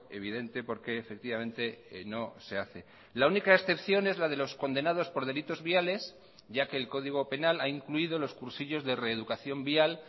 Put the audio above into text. evidente porque efectivamente no se hace la única excepción es la de los condenados por delitos viales ya que el código penal ha incluido los cursillos de reeducación vial